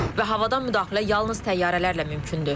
Və havadan müdaxilə yalnız təyyarələrlə mümkündür.